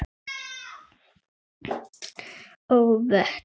og vötn.